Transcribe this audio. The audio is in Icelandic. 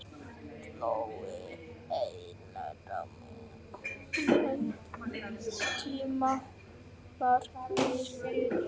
Það þótti eðlilegt að miða umrætt tímamark við skráningu.